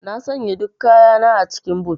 Na sanya duk kayana a cikin boot.